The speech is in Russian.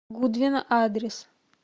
гудвин адрес